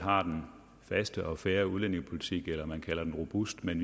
har den faste og den fair udlændingepolitik man kalder den robust men